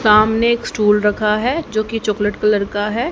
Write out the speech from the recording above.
सामने एक स्टूल रखा हुआ है जो चॉकलेट कलर का है।